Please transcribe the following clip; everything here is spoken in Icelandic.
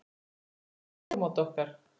Þetta er fyrsta stórmót okkar.